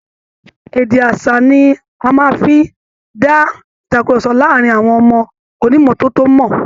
Èdè aṣa ni a fi màa ń dá ìtàkurọ̀sọ láàárin àwọn ọmọ onímọ́tò mọ